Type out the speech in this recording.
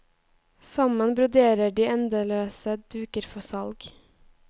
Sammen broderer de endeløse duker for salg.